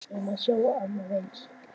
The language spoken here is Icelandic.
Við erum að sjá annað eins?